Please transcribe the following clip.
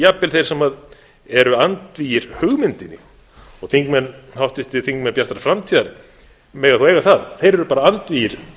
jafnvel þeir sem eru andvígir hugmyndinni og háttvirtir þingmenn bjartrar framtíðar mega þó eiga það þeir eru bara andvígir